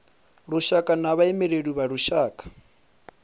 lushaka na vhaimeleli vha lushaka